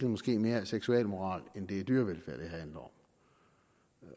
måske mere er seksualmoral end det er dyrevelfærd det handler